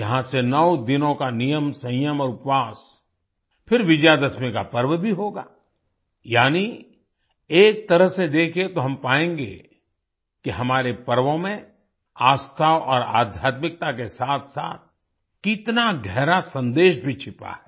यहाँ से नौ दिनों का नियमसंयम और उपवास फिर विजयदशमी का पर्व भी होगा यानि एक तरह से देखें तो हम पाएंगे कि हमारे पर्वों में आस्था और आध्यात्मिकता के साथसाथ कितना गहरा सन्देश भी छिपा है